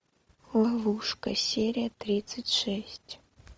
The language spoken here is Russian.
ловушка серия тридцать шесть